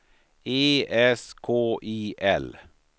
E S K I L